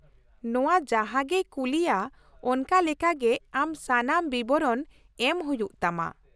-ᱱᱚᱶᱟ ᱡᱟᱦᱟᱸ ᱜᱮᱭ ᱠᱩᱜᱞᱤᱭᱟ ᱚᱱᱠᱟ ᱞᱮᱠᱟ ᱜᱮ ᱟᱢ ᱥᱟᱱᱟᱢ ᱵᱤᱵᱚᱨᱚᱱ ᱮᱢ ᱦᱩᱭᱩᱜ ᱛᱟᱢᱟ ᱾